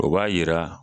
O b'a yira